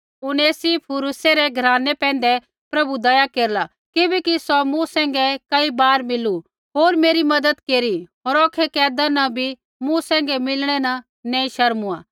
उनेसिफुरूसै रै घरानै पैंधै प्रभु दया केरला किबैकि सौ मूँ सैंघै कई बार मिलू होर मेरी मज़त केरी होर औखै कैदा न मूँ सैंघै मिलणै न नैंई शर्मूआ